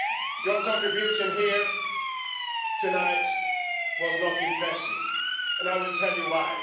Your contribution here tonight was not impressive, and I will tell you why.